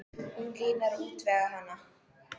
Hún Lína er að útvega hana.